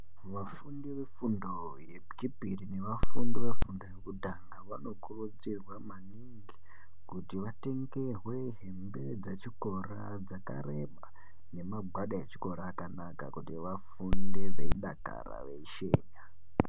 Vafundi vefunda yechipiri nevafudi vefundo yekutanga vanokurudzirwa maningi kuti vatengerwe hembe dzechikora dzakareba nemagwada echikora akanaka kuti vafunde veidakara veisheka.